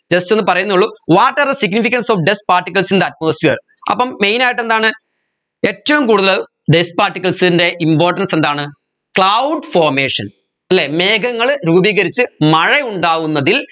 just ഒന്ന് പറയുന്നേ ഉള്ളു what are the significance of dust particles in the atmosphere അപ്പം main ആയിട്ട് എന്താണ് ഏറ്റവും കൂടുതൽ dust particles ൻറെ importance എന്താണ് cloud formation അല്ലെ മേഘങ്ങൾ രൂപീകരിച്ച് മഴ ഉണ്ടാകുന്നതിൽ